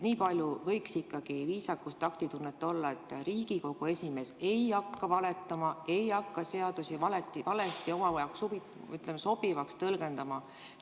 Nii palju võiks ikkagi viisakust, taktitunnet olla, et Riigikogu esimees ei hakka valetama, ei hakka seadusi valesti oma jaoks sobivaks tõlgendama.